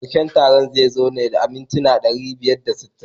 Karshen taron zai zo ne da mintuna ɗari biyar da sittin.